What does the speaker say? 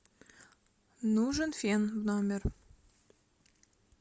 нужен фен в номер